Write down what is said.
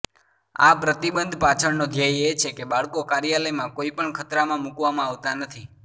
આ પ્રતિબંધ પાછળનો ધ્યેય એ છે કે બાળકો કાર્યાલયમાં કોઈપણ ખતરામાં મૂકવામાં આવતાં નથી